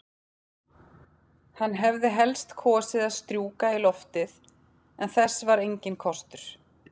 Hann hefði helst kosið að strjúka í loftið, en þess var enginn kostur.